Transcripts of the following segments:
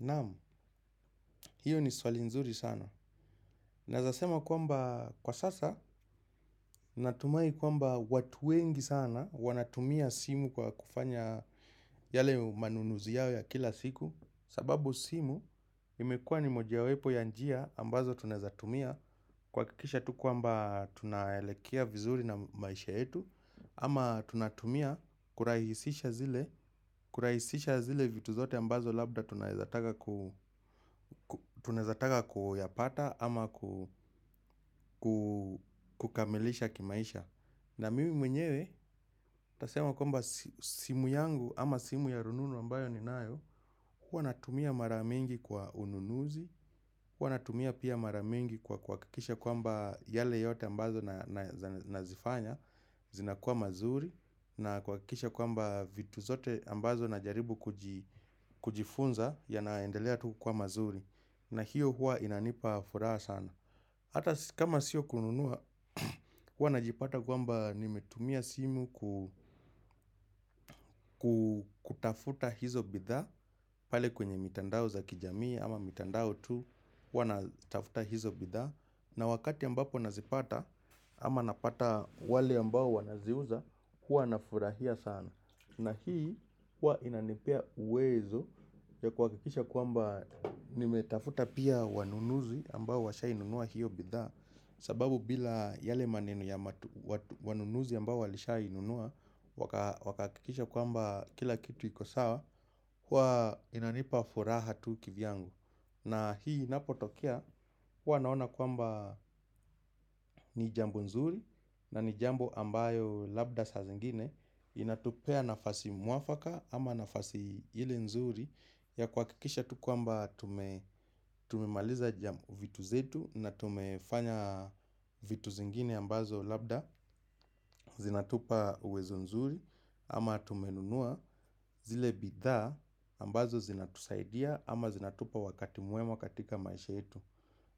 Naamu, hiyo ni swali nzuri sana. Naezasema kwamba kwa sasa, natumai kwamba watu wengi sana, wanatumia simu kwa kufanya yale manunuzi yao ya kila siku. Sababu simu, imekua ni mojawepo ya njia ambazo tunaezatumia. Kuwakikisha tu kwamba tunaelekea vizuri na maisha yetu. Ama tunatumia kurahisisha zile vitu zote ambazo labda tunaezataka kuyapata ama kukamilisha kimaisha. Na mimi mwenyewe tasema kwamba simu yangu ama simu ya rununu ambayo ninayo. Kwa natumia mara mingi kwa ununuzi. Kwa natumia pia mara mingi kwa kuwakikisha kwamba yale yote ambazo nazifanya. Zinakuwa mazuri na kuwakikisha kwamba vitu zote ambazo najaribu kujifunza yanaendelea tu kukuwa mazuri. Na hiyo huwa inanipa furaha sana. Hata kama sio kununua, huwa najipata kwamba nimetumia simu kutafuta hizo bidhaa pale kwenye mitandao za kijamii ama mitandao tu, huwa natafuta hizo bidhaa. Na wakati ambapo nazipata ama napata wale ambao wanaziuza kuwa nafurahia sana. Na hii kuwa inanipea uwezo ya kuwakikisha kwamba nimetafuta pia wanunuzi ambao washai nunua hiyo bidhaa. Sababu bila yale maneno ya wanunuzi ambao walishai nunua wakahakikisha kwamba kila kitu iko sawa huwa inanipa furaha tu kivyangu. Na hii inapotokea huwa naona kwamba ni jambo nzuri na ni jambo ambayo labda sa zingine inatupea nafasi mwafaka ama nafasi ile nzuri ya kuwakikisha tu kwamba tumemaliza jambo vitu zetu na tumefanya vitu zingine ambazo labda zinatupa uwezo nzuri ama tumenunua zile bidhaa ambazo zinatusaidia ama zinatupa wakati mwema katika maisha yetu.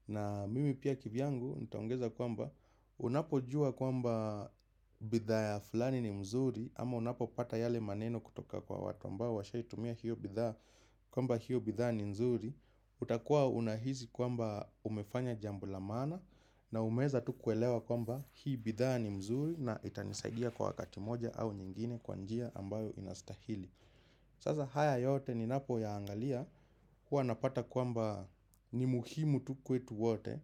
Na mimi pia kivyangu nitaongeza kwamba unapo jua kwamba bidhaa ya fulani ni mzuri ama unapopata yale maneno kutoka kwa watu ambao washaitumia hiyo bidhaa kwamba hiyo bidhaa ni nzuri. Utakuwa unahizi kwamba umefanya jambo la maana na umeza tu kuelewa kwamba hii bidhaa ni mzuri na itanisaidia kwa wakati moja au nyingine kwa njia ambayo inastahili. Sasa haya yote ni napoyaangalia huwa napata kwamba ni muhimu tu kwetu wote.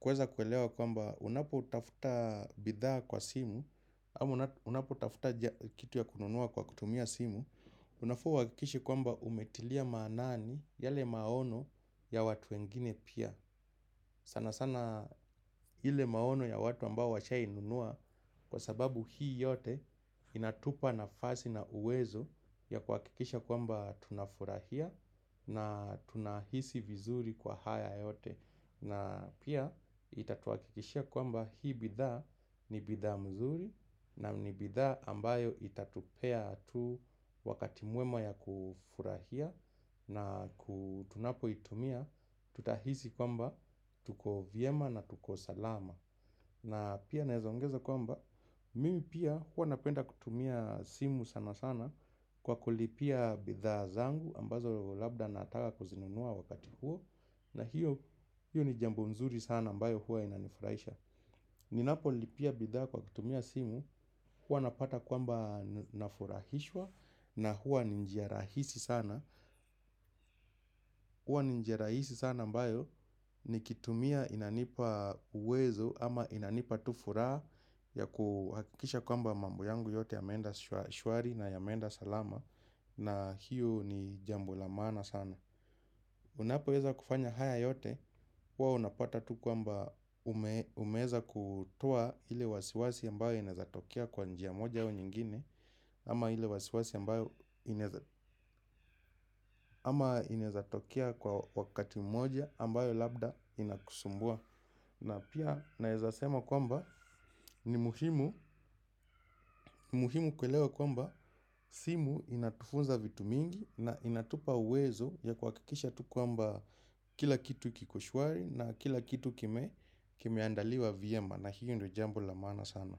Kuweza kwelewa kwamba unapotafuta bidhaa kwa simu. Ama unapo utafuta kitu ya kununua kwa kutumia simu. Unafaa uwakikishe kwamba umetilia maanani yale maono ya watu wengine pia. Sana sana ile maono ya watu ambao washa inunua. Kwa sababu hii yote inatupa nafasi na uwezo ya kuakikisha kwamba tunafurahia na tunahisi vizuri kwa haya yote. Na pia itatuakikisha kwamba hii bidhaa ni bidhaa mzuri na ni bidhaa ambayo itatupea tu wakati mwema ya kufurahia na tunapo itumia tutahisi kwamba tuko vyema na tuko salama. Na pia naezongeza kwamba mimi pia huwa napenda kutumia simu sana sana kwa kulipia bidhaa zangu ambazo labda nataka kuzinunua wakati huo na hiyo ni jambo nzuri sana mbayo huwa inanifurahisha. Ninapo lipia bidhaa kwa kutumia simu, huwa napata kwamba nafurahishwa na huwa ni njia rahisi sana. Huwa ni njia rahisi sana ambayo, nikitumia inanipa uwezo ama inanipa tu furaha ya kuhakisha kwamba mambo yangu yote yameenda shwari na yameenda salama na hiyo ni jambo la maana sana. Unapo weza kufanya haya yote, huwa unapata tu kwamba umeweza kutoa hile wasiwasi ambayo inaezatokea kwa njia moja au nyingine. Ama hile wasiwasi ambayo inaezatokia kwa wakati moja ambayo labda inakusumbua. Na pia naezasema kwamba ni muhimu kuelewa kwamba simu inatufunza vitu mingi. Na inatupa uwezo ya kuwakikisha tu kwamba kila kitu kikoshwari. Na kila kitu kimeandaliwa vyema. Na hiyo ndio jambo la maana sana.